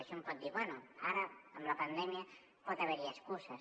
i un pot dir bé ara amb la pandèmia pot haver hi excuses